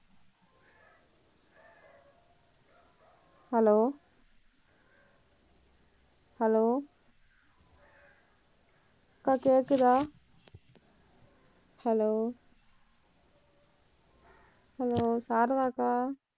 hello hello அக்கா கேக்குதா hello hello Sarada அக்கா